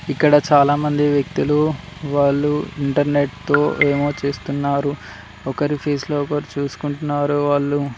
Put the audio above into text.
ఇక్కడ చాలామంది వ్యక్తులు వాళ్ళు ఇంటర్నెట్తో ఏమో చేస్తున్నారు. ఒకరి ఫేస్ లో ఒకరు చూసుకుంటున్నారు వాళ్ళు.